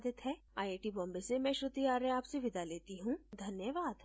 यह स्क्रिप्ट बिंदु पांडे द्वारा अनुवादित है आईआईटी बॉम्बे से मैं श्रुति आर्य आपसे विदा लेती हूँ धन्यवाद